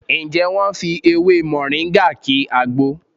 Ǹjẹ́ wọ́n fi ewé Mọ̀ríngà ki àgbo?